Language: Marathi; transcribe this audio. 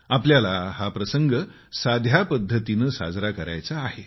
आपल्याला हा प्रसंग साध्या पद्धतीने साजरा करायचा आहे